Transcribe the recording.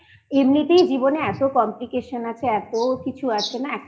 এমনিতেই জীবন এ এতো Complication আছে এতো কিছু আছে না